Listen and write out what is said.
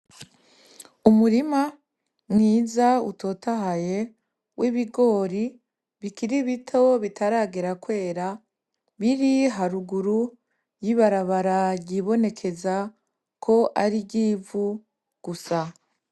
Umurima mwiza utotahaye wibigori bikiri bito bitaragera kwera biri haruguru yibarabara ryibonekeza ko arivyivu gusa.